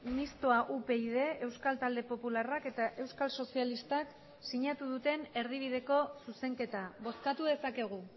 mistoa upyd euskal talde popularrak eta euskal sozialistak sinatu duten erdibideko zuzenketa bozkatu dezakegu